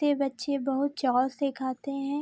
ते बच्चे बहुत चाव से खाते हैं।